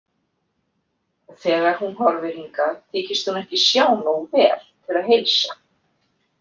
Þegar hún horfir hingað þykist hún ekki sjá nógu vel til að heilsa.